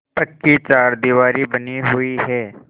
पक्की चारदीवारी बनी हुई है